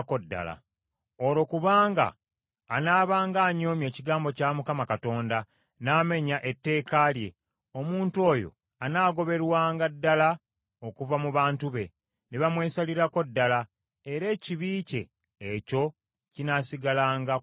Olwokubanga anaabanga anyoomye ekigambo kya Mukama Katonda, n’amenya etteeka lye, omuntu oyo anaagoberwanga ddala okuva mu bantu be, ne bamwesalirako ddala, era ekibi kye ekyo kinaasigalanga ku mutwe gwe.”